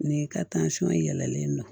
N'i ka yɛlɛlen don